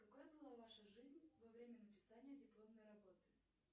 какой была ваша жизнь во время написания дипломной работы